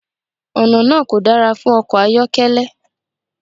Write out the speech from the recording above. Ọ̀nà náà kò dára fún ọkọ̀ ayọ́kẹ́lẹ́.